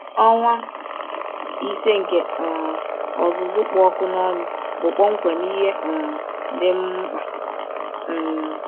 Ọnwa ise nke um ọzụzụ kpụ ọkụ n’ọnụ bụ kpọmkwem ihe um dị m mkpa. um